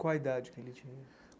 Qual a idade que ele tinha?